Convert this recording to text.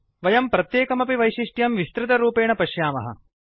वयं प्रत्येकमपि वैशिष्ट्यं विस्तृतरूपेण पश्यामः